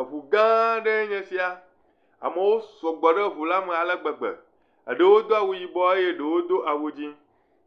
Eŋu gã aɖee nye sia. Amewo sɔgbɔ ɖe ŋu la me ale gbegbe. Eɖewo do awu yibɔ eye eɖewo do awu dzi.